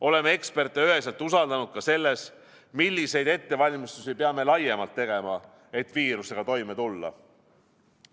Oleme eksperte üheselt usaldanud ka selles, milliseid ettevalmistusi peame laiemalt tegema, et viirusega toime tulla.